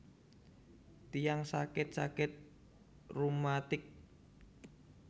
Tiyang sakit sakit reumatik